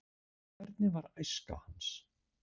Hvernig var æska hans?